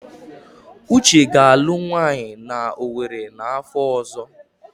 Uche ga-alụ nwaanyị na Owerri n'afọ ọzọ.